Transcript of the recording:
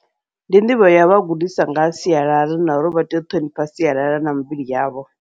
Ndi nḓivho yovha gudisa ngaha sialala, na uri vha tea u ṱhonifha sialala na mivhili yavho.